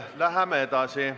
Läheme edasi.